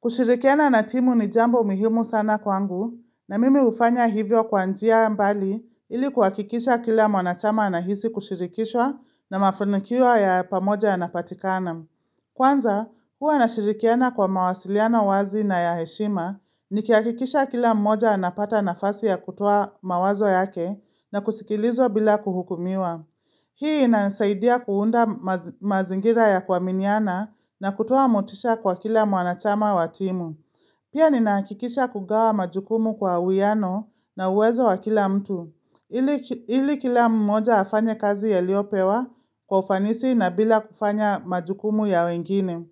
Kushirikiana na timu ni jambo muhimu sana kwangu na mimi hufanya hivyo kwa njia mbali ili kuhakikisha kila mwanachama anahisi kushirikishwa na mafanikio ya pamoja ya napatikana. Kwanza, huwa ninashirikiana kwa mawasiliana wazi na ya heshima ni kihakikisha kila mmoja anapata nafasi ya kutuo mawazo yake na kusikilizwa bila kuhukumiwa. Hii inanisaidia kuunda mazingira ya kuaminiana na kutoa motisha kwa kila mwanachama wa timu. Pia ninahakikisha kugawa majukumu kwa uwiano na uwezo wa kila mtu. Ili kila mmoja afanye kazi aliyopewa kwa ufanisi na bila kufanya majukumu ya wengine.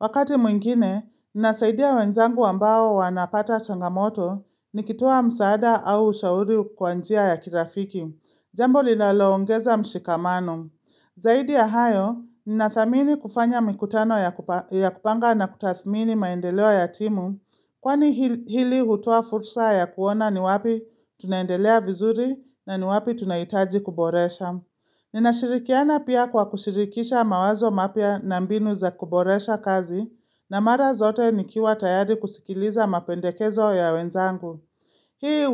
Wakati mwingine, nasaidia wenzangu ambao wanapata changamoto nikitoa msaada au ushauri kwanjia ya kirafiki. Jambo linaloongeza mshikamano. Zaidi ya hayo, nina thamini kufanya mikutano ya kupanga na kutathmini maendeleo ya timu, kwani hili hutoa fursa ya kuona ni wapi tunaendelea vizuri na ni wapi tunahitaji kuboresha. Ninashirikiana pia kwa kushirikisha mawazo mapya na mbinu za kuboresha kazi, na mara zote nikiwa tayari kusikiliza mapendekezo ya wenzangu. Hii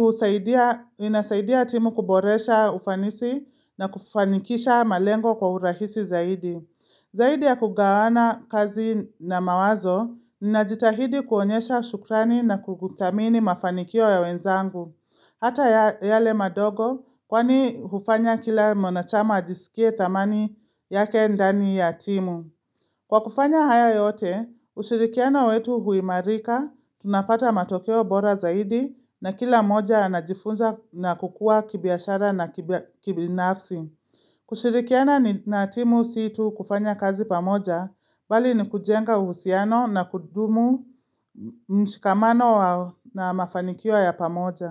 inasaidia timu kuboresha ufanisi na kufanikisha malengo kwa urahisi zaidi. Zaidi ya kugawana kazi na mawazo, ninajitahidi kuonyesha shukrani na kuthamini mafanikio ya wenzangu. Hata yale madogo, kwani hufanya kila mwanachama ajisikie thamani yake ndani ya timu. Kwa kufanya hayo yote, ushirikiano wetu huimarika, tunapata matokeo bora zaidi na kila mmoja anajifunza na kukua kibiashara na kibinafsi. Kushirikiana na timu siyo tu kufanya kazi pamoja, bali ni kujenga uhusiano na kudumu mshikamano na mafanikio ya pamoja.